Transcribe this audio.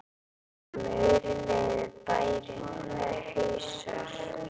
Á miðri leið er bærinn Hnausar.